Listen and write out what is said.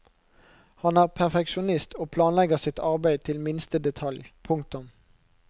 Han er perfeksjonist og planlegger sitt arbeid til minste detalj. punktum